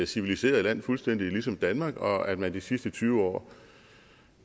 civiliseret land fuldstændig ligesom danmark og at man de sidste tyve år